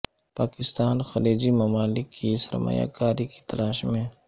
پاکستان خلیجی ممالک کی سرمایہ کاری کی تلاش میں